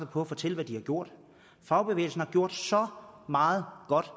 på at fortælle hvad den har gjort fagbevægelsen har gjort så meget godt